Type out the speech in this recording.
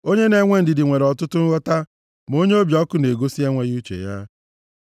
Onye na-enwe ndidi nwere ọtụtụ nghọta, ma onye obi ọkụ na-egosi enweghị uche ya.